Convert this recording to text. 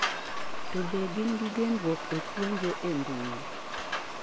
to be gin gi genruok e puonjo e mbui?